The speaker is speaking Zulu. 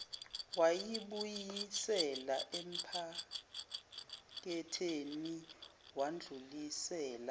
wayibuyisela ephaketheni wadlulisela